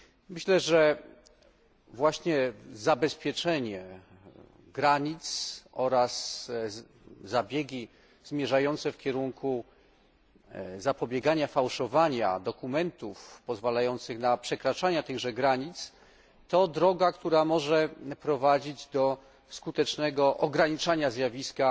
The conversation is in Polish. Myślę, że właśnie zabezpieczenie granic oraz zabiegi zmierzające w kierunku zapobiegania fałszowaniu dokumentów pozwalających na przekraczanie tychże granic, to droga, która może prowadzić do skutecznego ograniczania zjawiska